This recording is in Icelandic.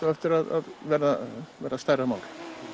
á eftir að vera stærra mál